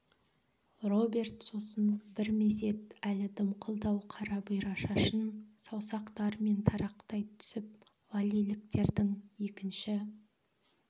роберт сосын бір мезет әлі дымқылдау қара бұйра шашын саусақтарымен тарақтай түсіп валлиліктердің екінші